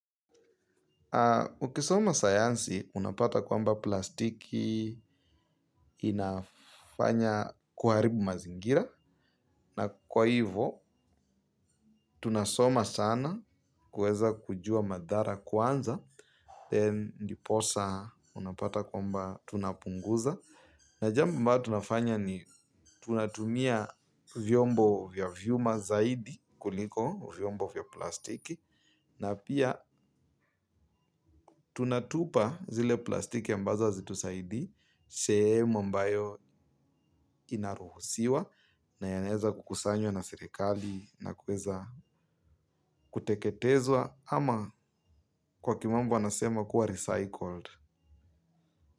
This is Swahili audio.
Ukisoma sayansi unapata kwamba plastiki inafanya kuharibu mazingira na kwa hivo tunasoma sana kweza kujua madhara kwanza then ndiposa unapata kwamba tunapunguza. Na jambo ambalo tunafanya ni tunatumia vyombo vya vyuma zaidi kuliko vyombo ya plastiki. Na pia tunatupa zile plastiki ambazo hazitusaidii. Sehemu ambayo inaruhusiwa na yanaeza kukusanywa na sirikali na kuweza kuteketezwa. Ama kwa kimambo anasema kuwa recycled.